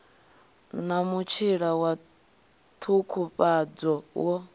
na mutshila wa ṱhukhufhadzo wo